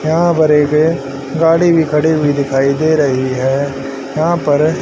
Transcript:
यहां गाड़ी भी खड़ी हुई दिखाई दे रही है यहां पर--